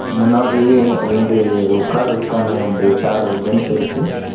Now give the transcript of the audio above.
முன்னாடி ரெண்டு உக்கார்றதுக்கான ரெண்டு சேரு பெஞ்சிருக்கு .